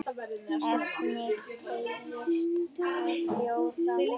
Efnið teygist á fjóra vegu.